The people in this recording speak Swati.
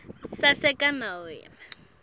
sitsatsa sitsembu